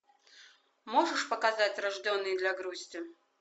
можешь показать рожденные для грусти